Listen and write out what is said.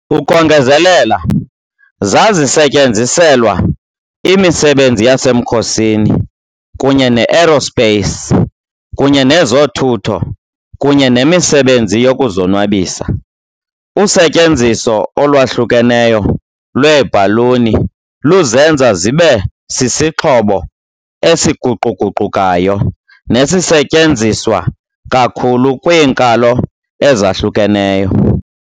Ukongezelela, zazisetyenziselwa imisebenzi yasemkhosini kunye ne-aerospace, kunye nezothutho kunye nemisebenzi yokuzonwabisa. Usetyenziso olwahlukeneyo lweebhaluni luzenza zibe sisixhobo esiguquguqukayo nesisetyenziswa kakhulu kwiinkalo ezahlukeneyo.